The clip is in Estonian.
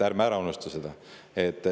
Ärme seda unustame.